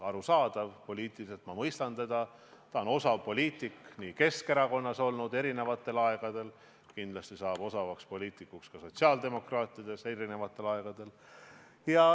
Arusaadav, poliitiliselt ma mõistan teda, ta on osav poliitik – ta oli seda eri aegadel Keskerakonnas ja kindlasti saab ta osavaks poliitikuks ka sotsiaaldemokraatide hulgas.